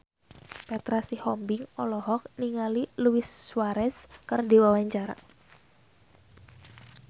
Petra Sihombing olohok ningali Luis Suarez keur diwawancara